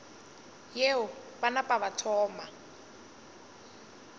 yeo ba napa ba thoma